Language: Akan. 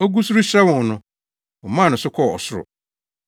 Ogu so rehyira wɔn no, wɔmaa no so kɔɔ ɔsoro.